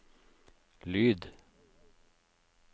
lyd